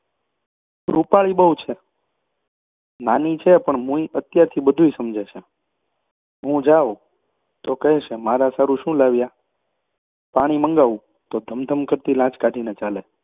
પણ રૃપાળી બહુ છે! નાની છે પણ મૂઈ અત્યારથી બધુંય સમજે છે. હું જાઉં તો કહેશે મારા સારુ શું લાવ્યા? અને પાણી મંગાવું તો ધમ ધમ કરતી લાજ કાઢીને ચાલે!